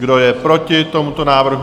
Kdo je proti tomuto návrhu?